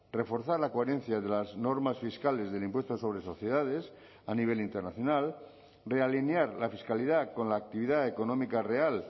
reforzar la coherencia de las normas fiscales del impuesto sobre sociedades a nivel internacional realinear la fiscalidad con la actividad económica real